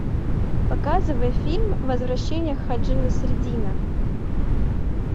показывай фильм возвращение ходжи насреддина